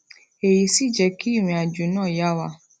èyí sì jẹ kí ìrìnàjò náà yá wa